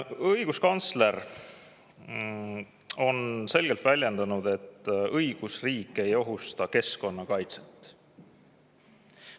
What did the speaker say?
Õiguskantsler on selgelt väljendanud, et õigusriik ei ohusta keskkonnakaitset.